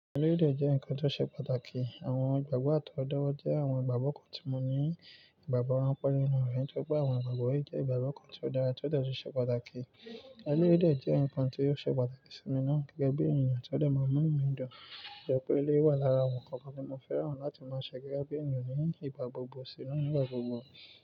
Elérè jẹ́ ǹkan tó ṣe pàtàkì. Àwọn ìgbàgbọ́ àtọwọ́dowo jẹ́ àwọn ìgbàgbọ́ kan tí mo ní ìgbàgbọ́ ránpẹ́ nínú rẹ̀, nitori pé àwọn ìgbàgbọ́ yìí jẹ́ ìgbàgbọ́ kan tí ó dára tí ó de tun ṣe pàtàkì. Eléyii de je ǹkan tí ó ṣe pàtàkì sí mi náà gẹ́gẹ́ bí èniyàn tí ó de máa n múnu mí dun. Ṣọpẹ́ eléyii wa lára àwọn ǹkankan tí mo fẹ́ràn láti máa ṣe gẹ́gẹ́ bí èèyàn ní ìgbà gbogbo sí inú ìgbà gbogbo.